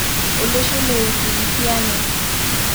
olosho le Ufilipino